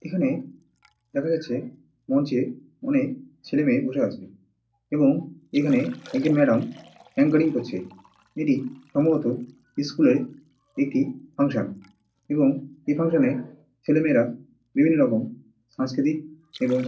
এখানে দেখা যাচ্ছে মঞ্চে অনেক ছেলে মেয়ে বসে আছে। এবং এখানে একজন ম্যাডাম আঙ্কারিং করছে এটি সম্ভবত একটি স্কুল -এর একটি ফাঙ্কশন এবং এই ফাঙ্কশন - এ ছেলে মেয়েরা সাংস্কৃতি এবং--